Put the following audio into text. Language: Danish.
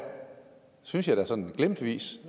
synes jeg da sådan glimtvis